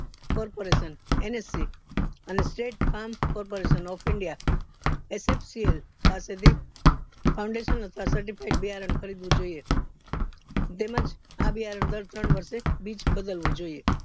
corporation nsc અને state farm corporation of india પાસે થી fouundation અથવા certified બિયારણ ખરીદવું જોઇયે તેમજ આ બિયારણ દર ત્રણ વર્ષે બીજ બદલવું જોઇયે